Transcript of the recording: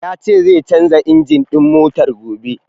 Ya ce zai canja injin ɗin motar gobe.